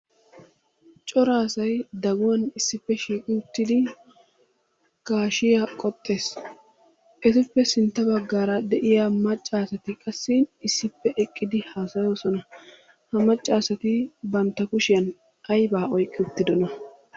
Cora asay daguwan issippe shiiqi uttidi gaashshiyaa qoxxees. Etuppe sintta baggaara de'iyaa maccaasati qassi issippe eqqidi haassayoosona. Ha maccaasati bantta kushiyaan aybba oyqqi uttidoona?